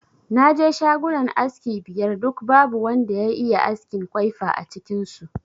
Na je shagunan aski biyar duk babu wanda ya iya askin kwaifa a cikin su